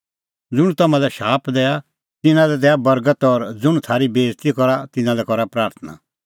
ज़ुंण तम्हां लै शाप दैआ तिन्नां लै दैआ बर्गत और ज़ुंण थारी बेइज़ती करा तिन्नां लै करा प्राथणां